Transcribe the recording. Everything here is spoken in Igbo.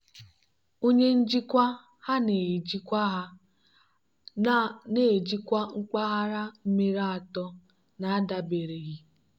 onye njikwa ha na-ejikwa ha na-ejikwa mpaghara mmiri atọ n'adabereghị.